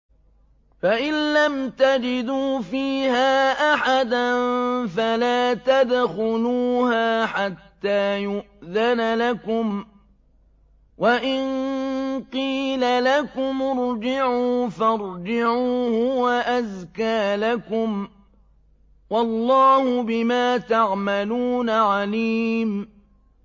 فَإِن لَّمْ تَجِدُوا فِيهَا أَحَدًا فَلَا تَدْخُلُوهَا حَتَّىٰ يُؤْذَنَ لَكُمْ ۖ وَإِن قِيلَ لَكُمُ ارْجِعُوا فَارْجِعُوا ۖ هُوَ أَزْكَىٰ لَكُمْ ۚ وَاللَّهُ بِمَا تَعْمَلُونَ عَلِيمٌ